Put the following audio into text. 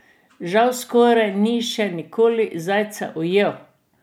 Žal skoraj ni še nikoli zajca ujel ...